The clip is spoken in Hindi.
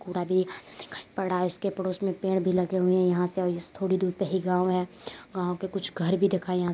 पूरा पड़ा है उसके पड़ोस में पेड़ भी लगे हुए हैं यहाँ से और थोड़ी दूर पे ही गाँव है | गाँव के कुछ घर भी दिखाई यहाँ से --